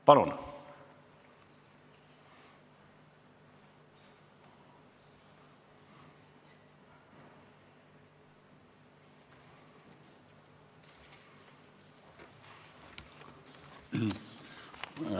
Palun!